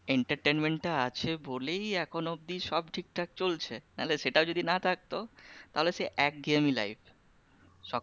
Entertainment টা আছে বলেই এখনো অবধি সব ঠিকঠাক চলছে না হলে সেটাও যদি না থাকতো তাহলে সেই একঘেয়েমি life